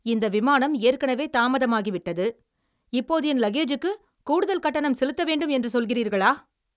இந்த விமானம் ஏற்கனவே தாமதமாகிவிட்டது, இப்போது என் லக்கேஜுக்கு கூடுதல் கட்டணம் செலுத்த வேண்டும் என்று சொல்கிறீர்களா?